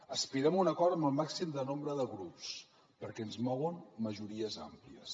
aspirem a un acord amb el màxim nombre de grups perquè ens mouen majories àmplies